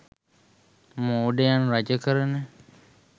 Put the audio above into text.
මෝඩයන් රජ කරන